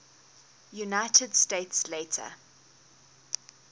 united states later